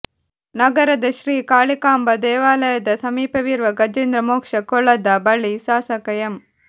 ನಗರದ ಶ್ರೀ ಕಾಳಿಕಾಂಬ ದೇವಾಲಯದ ಸಮೀಪವಿರುವ ಗಜೇಂದ್ರ ಮೋಕ್ಷ ಕೊಳದ ಬಳಿ ಶಾಸಕ ಎಂ